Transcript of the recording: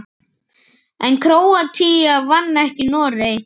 En Króatía vann ekki Noreg.